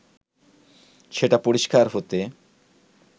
সেটা পরিষ্কার হতে